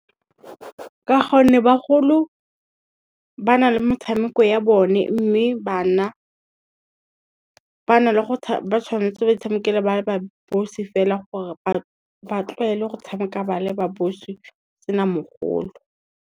Ka gonne bagolo, ba na le metshameko ya bone mme bana ba tshwanetse ba itshamekela ba ba bosi fela gore ba tlwaele go tshameka ba le ba bosi go sena mogolo.